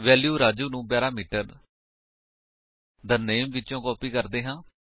value Raju ਨੂੰ parameter the name ਵਿਚੋ copy ਕਰਦੇ ਹਾਂ